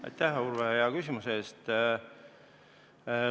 Aitäh, Urve, hea küsimuse eest!